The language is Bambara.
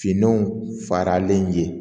Finanw faralen ye